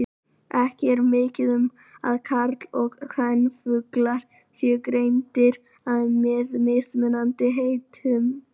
Ekki er mikið um að karl- og kvenfuglar séu greindir að með mismunandi heitum.